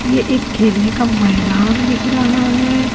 ये एक खेलने का मैदान दिख रहा है।